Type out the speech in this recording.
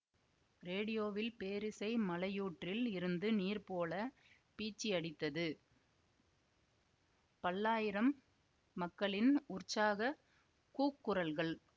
ரேடியோவில் பேரிசை மலையூற்றில் இருந்து நீர் போல பீச்சியடித்தது ப்ல்லாயிரம் மக்களின் உற்சாகக் கூக்குரல்கள்